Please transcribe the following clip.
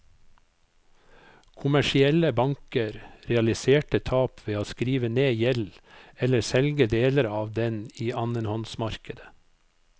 Kommersielle banker realiserte tap ved å skrive ned gjeld eller selge deler av den i annenhåndsmarkedet.